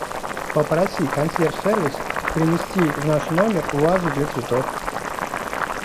попроси консьерж сервис принести в наш номер вазу для цветов